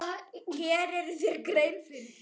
Gerirðu þér grein fyrir því?